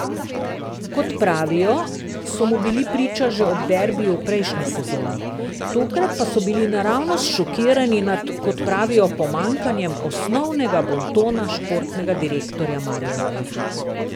Kot pravijo, so mu bili priča že ob derbiju v prejšnji sezoni, tokrat pa so bili naravnost šokirani nad, kot pravijo, pomanjkanjem osnovnega bontona športnega direktorja Maribora.